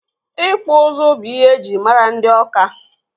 Ịkpụ ụzụ bụ ihe ejiri mara ndị Ọka.